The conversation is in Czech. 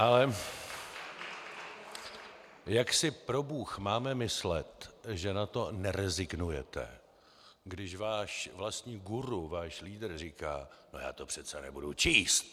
Ale jak si probůh máme myslet, že na to nerezignujete, když váš vlastní guru, váš lídr, říká "no, já to přece nebudu číst"?